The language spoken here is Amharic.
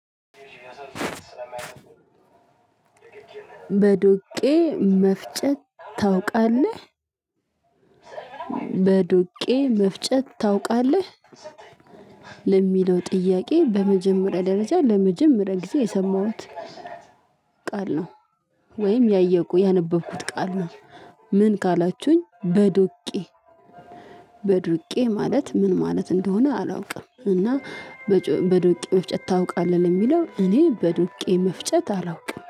በዶቄ መፍጨት ታውቃለህ። በዱቄ መፍጨት ታውቃለህ። ለሚለው ጥያቄ በመጀመሪያ ደረጃ ለመጀመሪያ ጊዜ የሰማሁት ቃል ነው። ወይም ያነበብኩት ቃል ነው። ምን ካላችሁኝ በዱቄ በዱቄ ማለት ምን ማለት እንደሆነ አላውቅም። እና በዱቄ መፍጨት ታውቃለህ ለሚለው እኔ በዱቄ መፍጨት አላውቅም